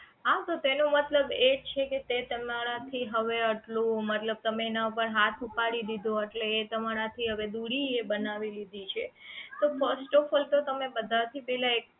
હા તો તેનો મતલબ એ જ છે કેતે તમારી થી હવે આટલું મતલબ તમે એના ઉપર હાથ ઉપાડી દીધો એટલે એ તમારા થી હવે દુરી બનાવી લીધી છે તો firstofall તો તમે બધા થી પહેલા એક